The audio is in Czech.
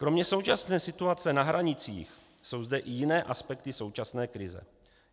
Kromě současné situace na hranicích jsou zde i jiné aspekty současné krize.